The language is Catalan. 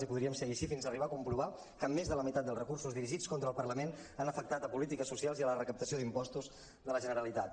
i podríem seguir així fins arribar a comprovar que més de la meitat dels recursos dirigits contra el parlament han afectat polítiques socials i la recaptació d’impostos de la generalitat